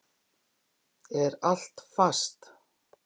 Er allt fast?